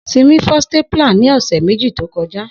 Simi fọ stapler ni ọsẹ meji to kọja